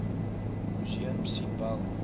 museum sien wel